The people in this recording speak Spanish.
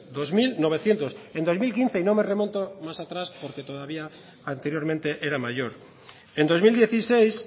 en dos mil quince y no me remonto más atrás porque todavía anteriormente era mayor en dos mil dieciséis